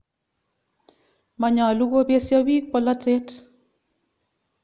Manyolu kopesyo piik polotet.